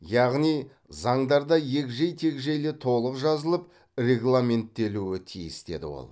яғни заңдарда егжей тегжейлі толық жазылып регламенттелуі тиіс деді ол